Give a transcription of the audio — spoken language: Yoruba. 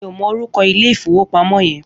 Mi ó mò órúkò ilé ifówópámò yèn